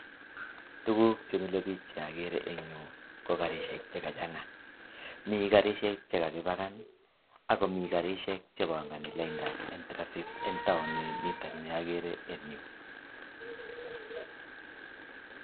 tuguk chemilepich che agere eng yu ko karishek che kachana. mi karishek che kakipakan akomii che kapangan lainda en traffit eng tauni nitok agere eng yu.